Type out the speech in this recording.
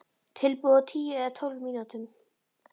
Tilbúið á tíu eða tólf mínútum.